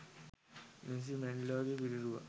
Nelson මැන්ඩෙලාගේ පිළිරුවක්